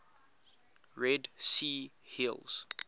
red sea hills